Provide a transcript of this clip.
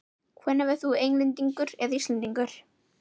Hvenær verður þú Englendingur eða Íslendingur?